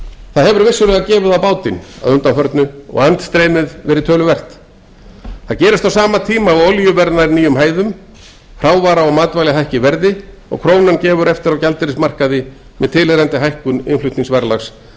það hefur gefið á bátinn undanfarið og andstreymið verið töluvert það gerist á sama tíma að olíuverð nær nýjum hæðum hrávara og matvæli hækka í verði og krónan gefur eftir á gjaldeyrismarkaði með tilheyrandi hækkun innflutningsverðlags eins og